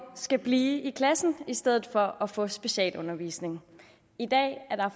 skal blive i klassen i stedet for at få specialundervisning i dag er